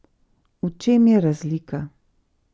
V čem je razlika?